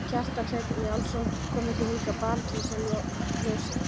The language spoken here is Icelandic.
Kjartan Hreinn Njálsson: Komuð þið hingað bara til að sjá ljósin?